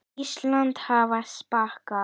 Íslands hafa skapað.